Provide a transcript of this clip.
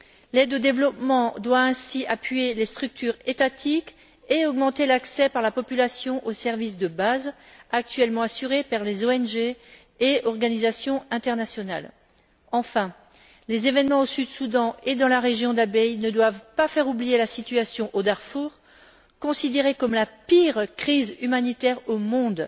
L'aide au développement doit ainsi appuyer les structures étatiques et augmenter l'accès de la population aux services de base, actuellement assurés par les ONG et organisations internationales. Enfin, les événements au Sud Soudan et dans la région d'Abyei ne doivent pas faire oublier la situation au Darfour, considérée comme la pire crise humanitaire au monde.